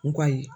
N ko kayi